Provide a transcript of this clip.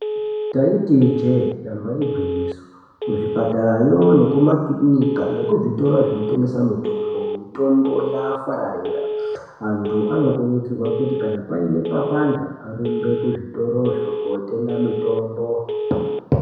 Ndaiti ijee damba igwinyiso kuzvipatara yo nekuma kirinika nekuzvitoro zvinotengese mitombo mitombo yaafararira antu anokurudzirwe kuzi kana paine papanda arumbe kuzvitoro zvo kotenga mitombo.